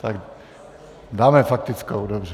Tak dáme faktickou, dobře.